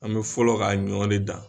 An bɛ fɔlɔ ka ɲɔgɔn de dan